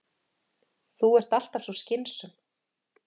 Þú ert alltaf svo skynsöm.